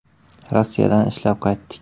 “Rossiyadan ishlab qaytdik.